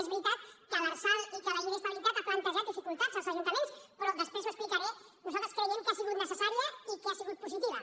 és veritat que l’lrsal i que la llei d’estabilitat han plantejat dificultats als ajuntaments però després ho explicaré nosaltres creiem que ha sigut necessària i que ha sigut positiva